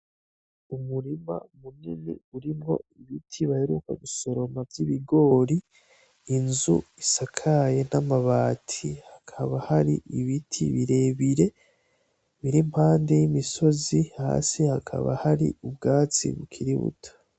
Umurima munini urimwo ibiti baheruka gusoroma vy'ibigori, inzu isakaye n'amabati , hakaba hari ibiti birebire biri impande y'imisozi, hasi hakaba hari ubwatsi bukiri buto.